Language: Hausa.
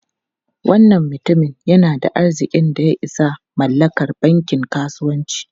Wannan mutumin yana da arzikin da ya isa mallakar bankin kasuwanci.